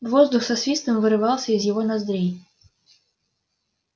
воздух со свистом вырывался из его ноздрей